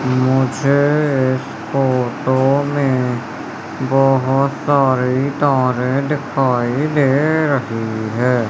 मुझे इस फोटो में बोहोत सारी तारे दिखाई दे रही है।